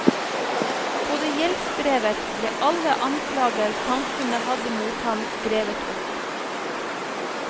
På det gjeldsbrevet ble alle anklager samfunnet hadde mot ham skrevet opp.